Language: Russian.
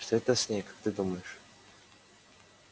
что это с ней как ты думаешь